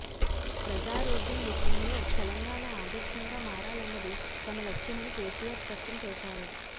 ప్రజారోగ్యం విషయంలో తెలంగాణ ఆదర్శంగా మారాలన్నది తమ లక్ష్యమని కేసీఆర్ స్పష్టం చేశారు